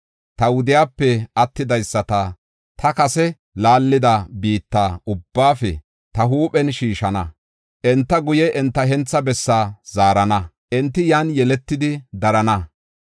Ta wudiyape attidaysata ta kase laallida biitta ubbaafe ta huuphen shiishana. Enta guye enta hentha bessaa zaarana; enti yan yeletidi darana.